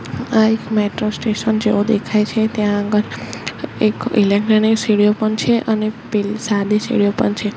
આ એક metro station જેવું દેખાય છે ત્યાં આગળ એક સીડીયો પણ છે અને પેલ સાદી સીડીયો પણ છે.